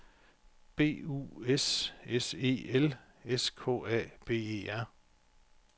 B U S S E L S K A B E R